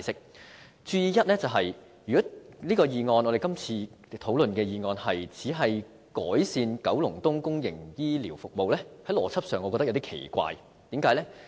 要注意的第一點是如果今次討論的議案只是改善九龍東的公營醫療服務，我認為邏輯上有點奇怪，為甚麼呢？